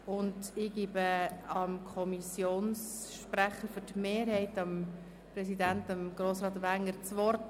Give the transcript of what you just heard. Ich erteile dem Kommissionssprecher beziehungsweise -präsidenten, Grossrat Wenger, für die Kommissionsmehrheit das Wort.